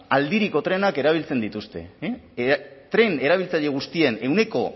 aldiriko trenak erabiltzen dituzte e tren erabiltzaile guztien ehuneko